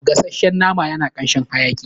Gasashshen naman yana kanshin hayaƙi